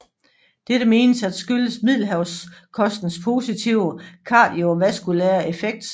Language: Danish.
Dette menes at skyldes Middelhavskostens positive kardiovaskulære effekt